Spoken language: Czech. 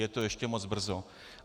Je to ještě moc brzo.